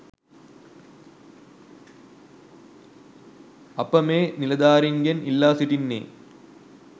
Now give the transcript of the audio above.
අප මේ නිලධාරීන්ගෙන් ඉල්ලා සිටින්නේ